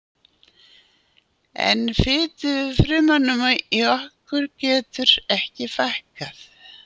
En fitufrumunum í okkur getur ekki fækkað.